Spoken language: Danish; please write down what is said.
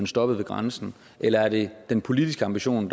stoppet ved grænsen eller er det den politiske ambition